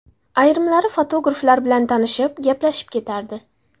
Ayrimlari fotograflar bilan tanishib, gaplashib ketardi.